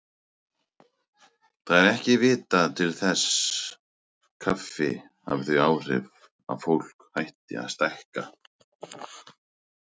Það er ekki vitað til þess kaffi hafi þau áhrif að fólk hætti að stækka.